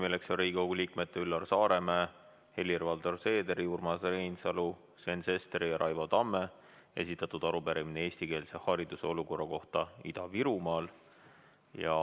Selleks on Riigikogu liikmete Üllar Saaremäe, Helir-Valdor Seederi, Urmas Reinsalu, Sven Sesteri ja Raivo Tamme esitatud arupärimine eestikeelse hariduse olukorra kohta Ida-Virumaal.